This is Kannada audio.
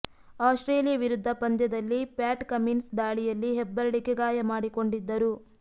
ಆಸ್ಟ್ರೇಲಿಯಾ ವಿರುದ್ಧ ಪಂದ್ಯದಲ್ಲಿ ಪ್ಯಾಟ್ ಕಮಿನ್ಸ್ ದಾಳಿಯಲ್ಲಿ ಹೆಬ್ಬೆರಳಿಗೆ ಗಾಯ ಮಾಡಿಕೊಂಡಿದ್ದರು